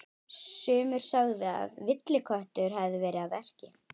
Sumir sögðu að villiköttur hefði verið að verki.